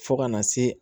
Fo ka na se